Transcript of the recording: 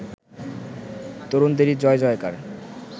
তরুণদেরই জয়-জয়কার